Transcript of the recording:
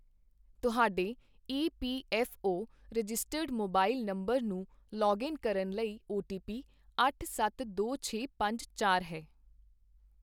ਤੁਹਾਡੇ E P F O registered mobile number ਨੂੰ login ਕਰਨ ਲਈ ਓ ਟੀ ਪੀ ਅੱਠ ਸੱਤ ਦੋ ਛੇ ਪੰਜ ਚਾਰ ਹੈ I